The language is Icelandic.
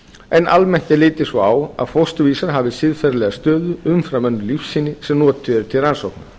en almennt er litið svo á að fósturvísar hafi siðferðilega stöðu umfram önnur lífsýni sem notuð eru til rannsókna